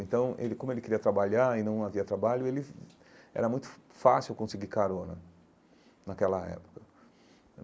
Então, ele como ele queria trabalhar e não havia trabalho, ele era muito fá fácil conseguir carona naquela época.